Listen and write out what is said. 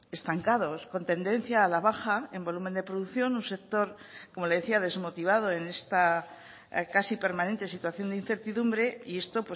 estancados con tendencia a la baja en volumen de producción un sector como le decía desmotivado en esta casi permanente situación de incertidumbre y esto